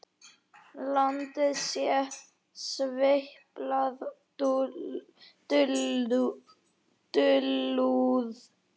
Landið sé sveipað dulúð.